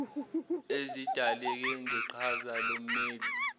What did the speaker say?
ezidaleke ngeqhaza lommeli